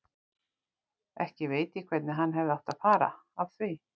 Ekki veit ég hvernig hann hefði átt að fara að því.